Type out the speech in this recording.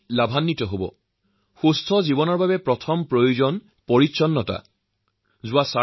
আমি প্ৰতিষেধকজনিত চিকিৎসাৰ সন্দৰ্ভত যিমান সচেতন হব ব্যক্তি পৰিয়াল আৰু সমাজসকলোৱে ইয়াৰ দ্বাৰা লাভান্বিত হব